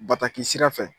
Bataki sira fɛ